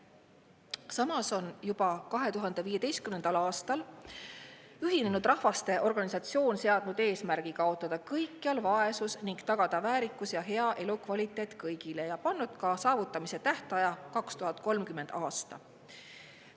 Samas on juba 2015. aastal Ühinenud Rahvaste Organisatsioon seadnud eesmärgi kaotada kõikjal vaesus ning tagada väärikus ja hea elukvaliteet kõigile ja pannud ka saavutamise tähtaja: 2030. aasta.